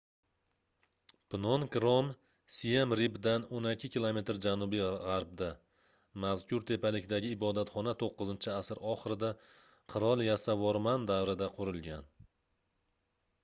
pnon krom siem reapdan 12 km janubi-gʻarbda mazkur tepalikdagi ibodatxona 9-asr oxirida qirol yasovorman davrida qurilgan